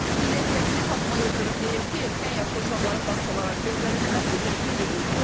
Millət vəkili Fatma Yıldırım deyir ki, erkən yaşda uşaqların bağçalara göndərilməsi düzgün deyil.